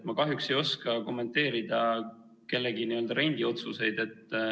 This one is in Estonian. Ma kahjuks ei oska kommenteerida kellegi n-ö rendiotsuseid.